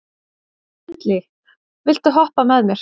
Bentley, viltu hoppa með mér?